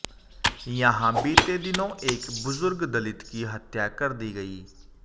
यहां बीते दिनों एक बुजुर्ग दलित की हत्या कर दी गई